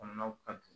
Kɔnɔnaw ka